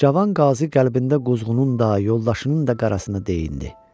Cavan Qazi qəlbində quzğunun, daha yoldaşının da qarasını deyinirdi.